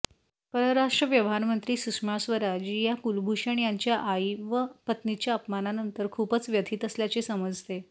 परराष्ट्र व्यवहारमंत्री सुषमा स्वराज या कुलभूषण यांच्या आई व पत्नीच्या अपमानानंतर खूपच व्यथित असल्याचे समजते